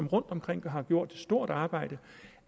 rundtomkring har gjort et stort arbejde